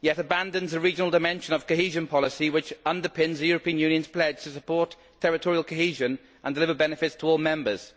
yet abandons the regional dimension of cohesion policy which underpins the European Union's pledge to support territorial cohesion and deliver benefits to all members.